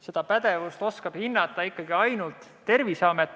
Seda pädevust oskab hinnata ikkagi ainult Terviseamet.